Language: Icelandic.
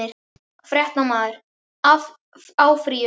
Fréttamaður: Áfrýjun?